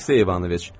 Aleksey İvanoviç!